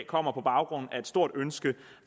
kommer på baggrund af et stort ønske